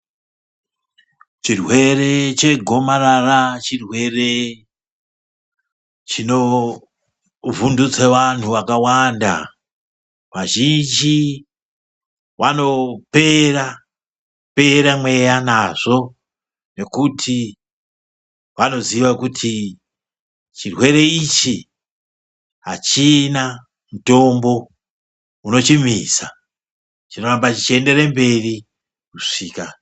Chirwere chegomarara chirwere chinovhunduse vantu vakawanda. Vazhini vanopera Pera mweya nazvo nekuti vanoziye kuti chirwere ichi hachina mutombo unochimisa chinorambe chienderere mberi.